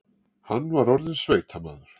Hann var orðinn sveitamaður.